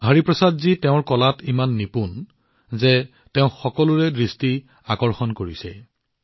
হৰিপ্ৰসাদজী তেওঁৰ কলাত এনে সিদ্ধহস্ত যে তেওঁ সকলোৰে দৃষ্টি আকৰ্ষণ কৰিবলৈ সক্ষম হয়